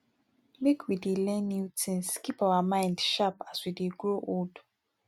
make we dey learn new things keep our mind sharp as we dey grow old